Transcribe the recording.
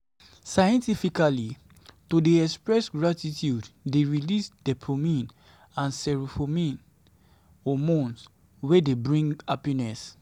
scientifically to de express gratitude de release dopamine and serotonin hormones wey de bring happiness